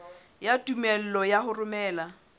ya tumello ya ho romela